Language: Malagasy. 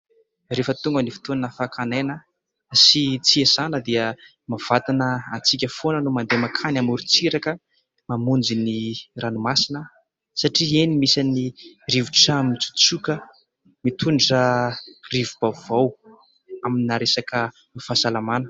Rehefa tonga ny fotoana fakana aina sy tsy hiasana dia mahavantana antsika foana ny mandeha makany amorontsiraka, mamonjy ny ranomasina satria eny misy ny rivotra mitsotsoka, mitondra rivo-baovao amina resaka fahasalamana.